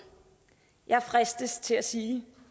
jeg fristes til at sige